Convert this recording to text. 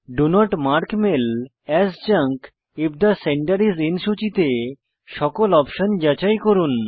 do not mark mail as junk if the sender is in সূচিতে সকল option যাচাই করুন